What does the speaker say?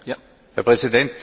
Herr Präsident!